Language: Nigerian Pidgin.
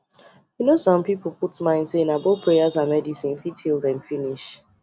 you know some people put mind say na both prayers and medicine fit heal them finish